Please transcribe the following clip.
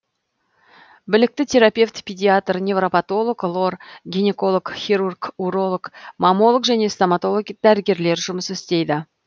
білікті терапевт педиатр невропатолог лор гинеколог хирург уролог маммолог және стоматолог дәрігерлер жұмыс істейді